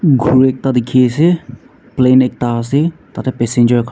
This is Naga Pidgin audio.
ghuri ekta dikhiase plane ekta ase tatae passenger khan--